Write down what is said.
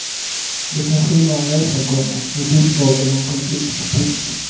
De kan skildra en resa, komma ett uppdrag eller en konflikt. punkt